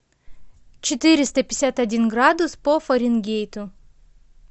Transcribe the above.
четыреста пятьдесят один градус по фаренгейту